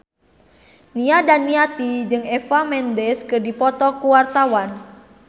Nia Daniati jeung Eva Mendes keur dipoto ku wartawan